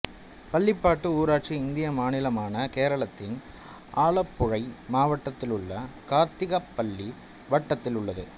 பள்ளிப்பாடு ஊராட்சி இந்திய மாநிலமான கேரளத்தின் ஆலப்புழை மாவட்டத்திலுள்ள கார்த்திகப்பள்ளி வட்டத்தில் உள்ளது